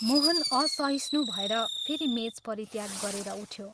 मोहन असहिष्णु भएर फेरि मेच परित्याग गरेर उठ्यो।